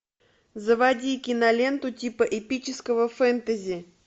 заводи киноленту типа эпического фэнтези